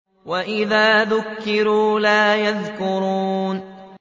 وَإِذَا ذُكِّرُوا لَا يَذْكُرُونَ